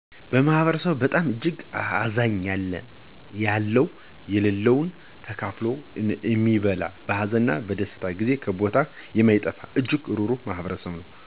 ማህበረሰቡ በጣም እጅግ አዛኛ ያለው ለለው ተካፋሎ እሚበላ በሀዘን እነ በደስታ ጊዜ ከቦታው እማይጠፋ እጅግ ሩሩህ ማህበረሰብ ነው።